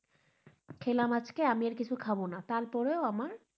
খেলাম আজকে আমি আর কিছু খাব না তারপরেও আমার,